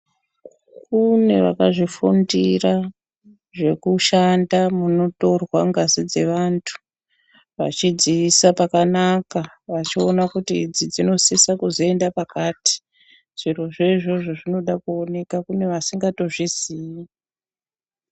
Kune vakazvifundira zvekushanda munotorwa ngazi dzevantu vachidziisa pakanaka vachidziona kuti idzi dzinosisa kuzoenda pakati. Zviro zvoizvozvo zvinoda kuoneka kune vasingatozviziyi.